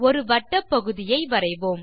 ஒரு வட்டப்பகுதி ஐ வரைவோம்